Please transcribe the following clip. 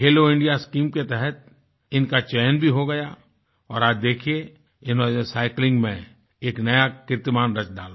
खेलो India scheme के तहत इनका चयन भी हो गया और आज देखिए इन्होंने साइक्लिंग में एक नया कीर्तिमान रच डाला